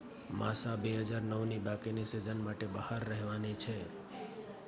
માસા 2009 ની બાકીની સીઝન માટે બહાર રહેવાની છે